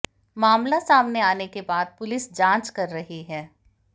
मामला सामने आने के बाद पुलिस जांच कर रही है